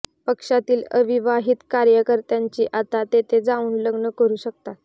पक्षातील अविवाहीत कार्यकर्त्यांची आता तेथे जाऊन लग्न करू शकतात